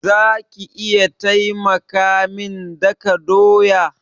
Za ki iya taimaka min daka doya?